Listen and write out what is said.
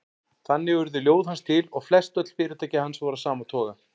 Þannig urðu ljóð hans til og flestöll fyrirtæki hans voru af sama toga.